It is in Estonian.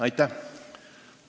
Aitäh!